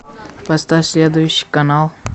поставь следующий канал